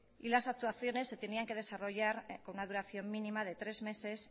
y las actuaciones se tenían que desarrollar con una duración mínima de tres meses